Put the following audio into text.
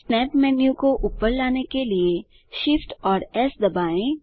snap menu को ऊपर लाने के लिए Shift और एस दबाएँ